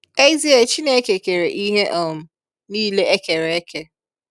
ezie Chineke kere ihe um nile e kere eke